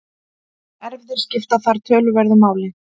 Erfðir skipta þar töluverðu máli.